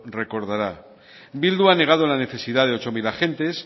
recordará bildu ha negado la necesidad de ocho mil agentes